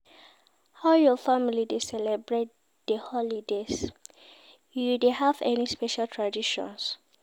How your family dey celebrate di holidays, you dey have any special traditions?